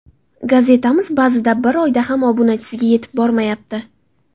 Gazetamiz ba’zida bir oyda ham obunachiga yetib bormayapti.